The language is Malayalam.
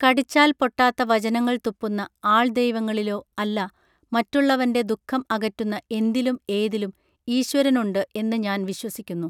കടിച്ചാൽ പൊട്ടാത്ത വചനങ്ങൾ തുപ്പുന്ന ആൾ ദൈവങ്ങളിലോ അല്ല മറ്റുള്ളവൻറെ ദുഃഖം അകറ്റുന്ന എന്തിലും ഏതിലും ഈശ്വരനുണ്ട് എന്ന് ഞാൻ വിശ്വസിക്കുന്നു